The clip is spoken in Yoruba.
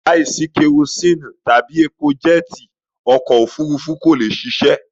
Láìsí kẹrosíínì tàbí epo jẹ́ẹ́tì okọ̀-òfurufú kò lè ṣiṣẹ́.